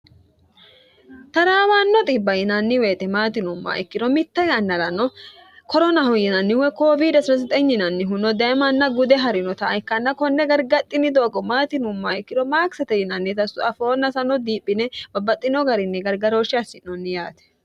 taraawaanno xibba yinanni woyete maati yinuummoha ikkiro mitte yannarano koronaho yinanni woy koowidi yinannihuno daye manna gude ha'rinota ikkanna konne gargadhinnanni doogo maati yinummoha ikkiro maakisete yinannita afoonna sano diphine babbaxxino garinni gargarooshshi assi'noonni yaate